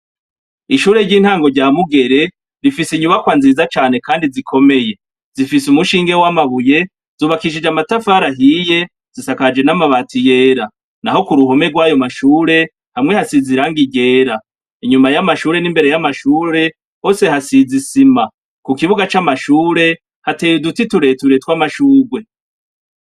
Ishure ry'intango rya mugere rifise inyubakwa nziza cane, kandi zikomeye zifise umushinge w'amabuye zubakishije amatafarahiye zisakaje n'amabati yera, na ho ku ruhome rw'ayo mashure hamwe hasiz iranga irera inyuma y'amashure n'imbere y'amashure hose hasizisima ku kibuga c'amashure hateye uduti tureturetw' amashugwe.